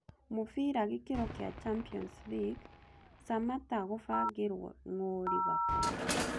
Mũbira gĩkĩro kĩa champions league; samatta gũbangĩrũo ng’ũũ Liverpool.